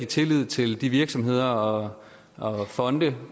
tillid til de virksomheder og fonde